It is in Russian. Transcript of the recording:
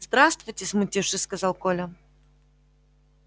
здравствуйте смутившись сказал коля